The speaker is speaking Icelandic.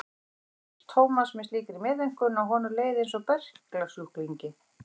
Hún horfði á Thomas með slíkri meðaumkun að honum leið einsog berklasjúklingi.